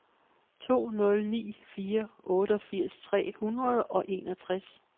to nul ni fire otteogfirs tre hundrede og enogtres